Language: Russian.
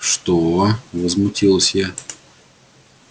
что возмутилась я